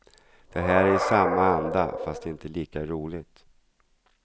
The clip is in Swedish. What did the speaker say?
Det här är i samma anda, fast inte lika roligt.